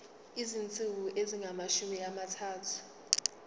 izinsuku ezingamashumi amathathu